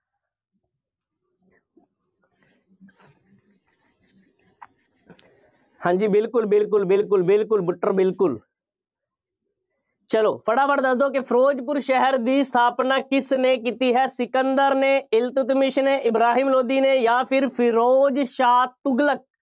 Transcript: ਹਾਂ ਜੀ ਬਿਲਕੁੱਲ ਬਿਲਕੁੱਲ ਬਿਲਕੁੱਲ ਬਿਲਕੁੱਲ butter ਬਿਲਕੁੱਲ ਚੱਲੋ ਫਟਾਫਟ ਦੱਸ ਦਿਉ ਕਿ ਫਿਰੋਜ਼ਪੁਰ ਸ਼ਹਿਰ ਦੀ ਸਥਾਪਨਾ ਕਿਸਨੇ ਕੀਤੀ ਹੈ? ਸਿਕੰਦਰ ਨੇ, ਇਲਤਤਮੀਸ ਨੇ, ਇਬਰਾਹਿਮ ਲੋਧੀ ਨੇ ਜਾਂ ਫਿਰ ਫਿਰੋਜ਼ ਸ਼ਾਹ ਤੁਗਲਕ।